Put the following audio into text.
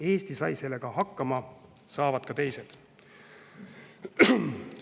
Eesti sai sellega hakkama, saavad ka teised.